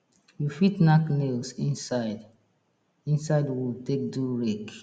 you fit nack nails inside inside wood take do rake